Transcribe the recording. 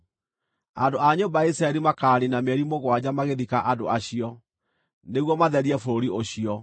“ ‘Andũ a nyũmba ya Isiraeli makaaniina mĩeri mũgwanja magĩthika andũ acio, nĩguo matherie bũrũri ũcio.